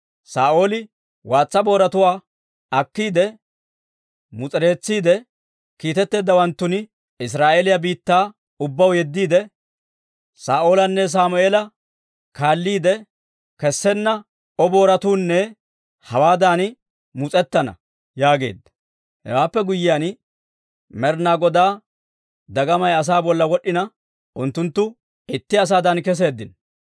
Saa'ooli waatsa booratuwaa akkiide mus'ereetsiide, kiitetteeddawanttun Israa'eeliyaa biittaa ubbaw yeddiide, «Saa'oolanne Sammeela kaalliide, kessenna O booratuunne hawaadan mus'ettana» yaageedda. Hewaappe guyyiyaan, Med'inaa Godaa dagamay asaa bolla wod'd'ina, unttunttu itti asaadan keseeddino.